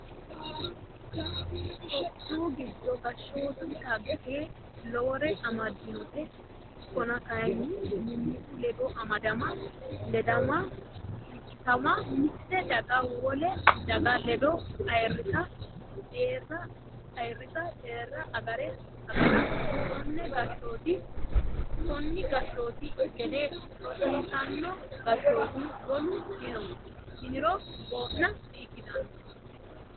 Tophiyu giddo gashshotu dhagge lowore amadinote ikkonna kayinni mimmitu ledo amadama ledama irkisama mite daga wole daga ledo ayirrisa deerra agara koni gashshooti gede rosiisino gashshoti wolu dino yiniro boona di"ikkittano.